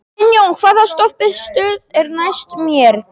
Finnjón, hvaða stoppistöð er næst mér?